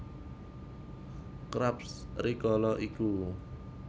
Krabs rikala iku